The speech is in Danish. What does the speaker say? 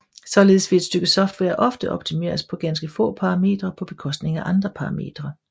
Således vil et stykke software ofte optimeres på ganske få parametre på bekostning af andre parametre